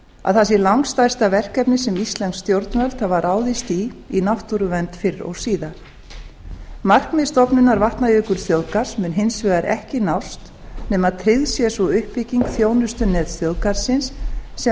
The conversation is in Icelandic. að það sé langstærsta verkefni sem íslensk stjórnvöld hafa ráðist í í náttúruvernd fyrr og síðar markmið stofnunar vatnajökulsþjóðgarðs mun hins vegar ekki nást nema að tryggð sé sú uppbygging þjónustunets þjóðgarðsins sem ráðgjafarnefnd